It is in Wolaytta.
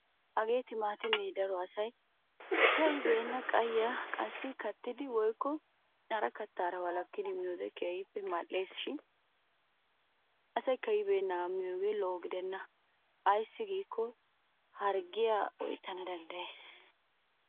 Hagee timaatimee daro asay kai'beenna qayyiyan qassi kattidi woykko hara kattaara wolakkidi miyode keehippe mal'es. Shin asay ka'ibbeennaagaa miyogee lo'o gidenna ayssi giikko harggiyan oyttana danddayes.